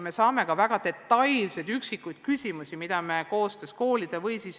Me saame ka väga detailseid küsimusi, mida me koostöös koolidega lahendame.